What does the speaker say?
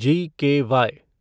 GKY